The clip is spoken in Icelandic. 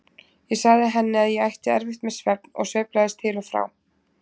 Ég sagði henni að ég ætti erfitt með svefn og sveiflaðist til og frá.